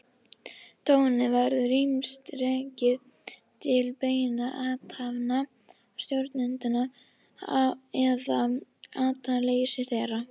Tjónið verður ýmist rakið til beinna athafna stjórnenda eða athafnaleysis þeirra.